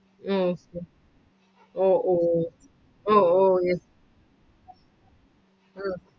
Okay oh oh oh oh yes ah